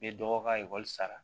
N bɛ dɔgɔ ka ekɔli sara